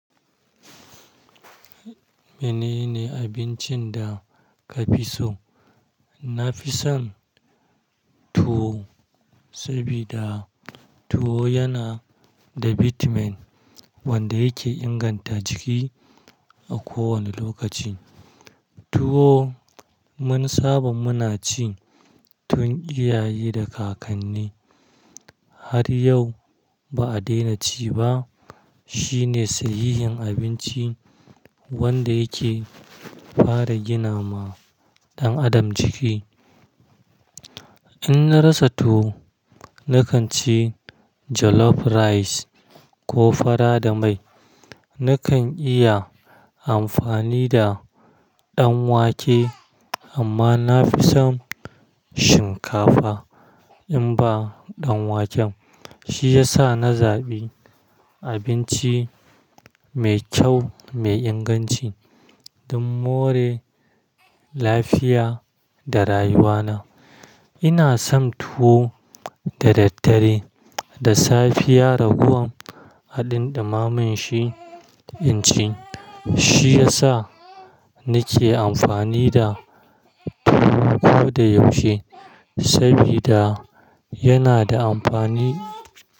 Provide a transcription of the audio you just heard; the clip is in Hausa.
Menene abincin da ka fi so? Na fi son tuwo, sabida tuwo yana da bitamin wanda yake inganta jiki a kowane lokaci. Tuwo wanni saban mu na ci tun iyaye da kakannen, har yau ba a daina ci ba. Shi ne sahihin abinci wanda yake fara gina ma ɗan adam jiki. In na rasa tuwo, na kan ci jollof rice ko fara da mai. Na kan iya amfani da ɗan wake amma na fi son shinkafa in ba ɗan waken. Shi ya sa na zaɓi abinci mai kyau mai inganci don more lafiya da rayuwa na. Ina son tuwo da daddare, da safiya raguwan haɗin ɗumamin shi in ci. Shi ya sa na ke amfani da tuwo koda yaushe, sabida yana da amfani.